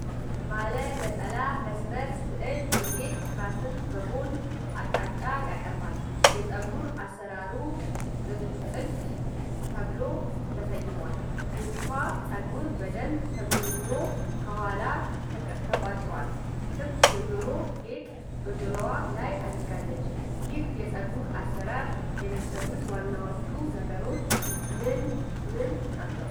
ባለ ነጠላ መስመር ስዕል የሴት ራስን በጎን አቅጣጫ ያቀርባል። የፀጉር አሰራሩ 'ጥልፍ' ተብሎ ተሰይሟል። የፊቷ ፀጉር በደንብ ተጎንጉኖ ከኋላ ተቋጥሯል። ክብ የጆሮ ጌጥ በጆሮዋ ላይ አድርጋለች። ይህን የፀጉር አሠራር የሚሠሩት ዋናዎቹ ነገሮች ምን ምን ናቸው?